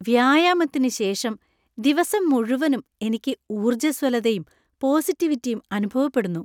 വ്യായാമത്തിന് ശേഷം ദിവസം മുഴുവനും എനിക്ക് ഊർജ്ജസ്വലതയും, പോസിറ്റിവിറ്റിയും അനുഭവപ്പെടുന്നു.